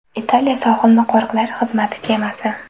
Italiya sohilni qo‘riqlash xizmati kemasi.